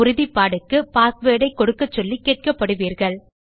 உறுதிப்பாடுக்கு password ஐ கொடுக்கச்சொல்லி கேட்கப்படுவீர்கள்